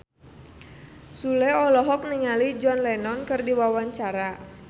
Sule olohok ningali John Lennon keur diwawancara